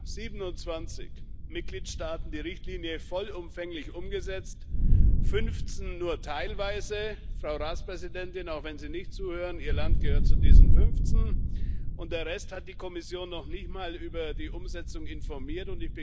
von siebenundzwanzig Mitgliedstaaten die Richtlinie vollumfänglich umgesetzt, fünfzehn nur teilweise Frau Ratspräsidentin, auch wenn Sie nicht zuhören, Ihr Land gehört zu diesen fünfzehn und der Rest hat die Kommission noch nicht mal über die Umsetzung informiert.